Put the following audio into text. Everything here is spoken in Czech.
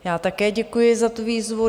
Já také děkuji za tu výzvu.